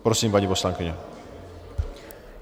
Prosím, paní poslankyně.